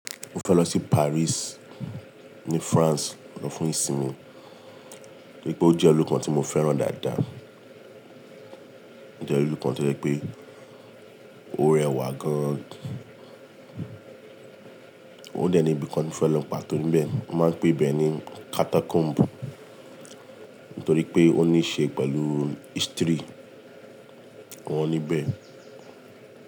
Mo fẹ́ lọ sí Paris ní France fún ìsinmi, nítorí pé ó jẹ́ ilu kan tí mo fẹ́ràn dáadáa. Ó jẹ́ ilu kan tí ó je pé ó rẹwà gan an. Ó dẹ̀ ní ibi kan tí mo fẹ́ lọ pàtó níbẹ̀. Wọ́n máa ń pe ibẹ̀ ní Catacomb, nítorí pé ó ní ṣe pẹ̀lú history wọn níbẹ̀